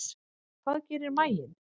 Hvað gerir maginn?